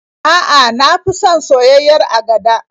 A'a, na fi son soyayyiyar agada.